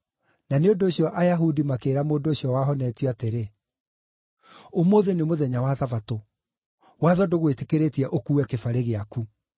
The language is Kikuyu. na nĩ ũndũ ũcio Ayahudi makĩĩra mũndũ ũcio wahonetio atĩrĩ, “Ũmũthĩ nĩ mũthenya wa Thabatũ; watho ndũgwĩtĩkĩrĩtie ũkuue kĩbarĩ gĩaku.”